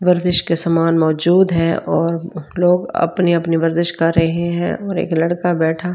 वर्जिस के सामान मौजूद है और लोग अपनी-अपनी वर्जिस कर रहे हैं और एक लड़का बैठा --